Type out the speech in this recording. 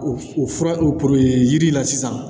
O o fura o yiri in na sisan